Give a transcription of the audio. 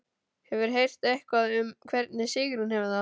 Hefurðu heyrt eitthvað um hvernig Sigrún hefur það?